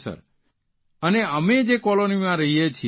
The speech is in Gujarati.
સર અને અમે જે કોલોનીમાં રહીએ છીએ